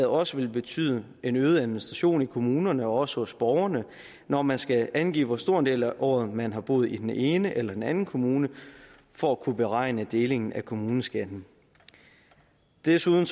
også vil betyde en øget administration i kommunerne og også hos borgerne når man skal angive hvor stor en del af året man har boet i den ene eller den anden kommune for at kunne beregne delingen af kommuneskatten desuden